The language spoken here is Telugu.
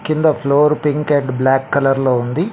కింద floor pink and black colour లో ఉంది.